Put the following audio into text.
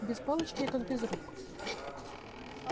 без палочки я как без рук